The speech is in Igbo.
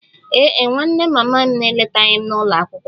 Ee e, nwanne mama m eletaghị m n'ụlọ akwụkwọ